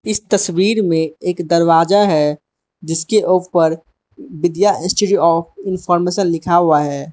इस तस्वीर में एक दरवाजा है जिसके ऊपर विद्या इंस्टीट्यूट आफ इनफॉरमेशन लिखा हुआ है।